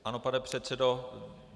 Ano, pane předsedo.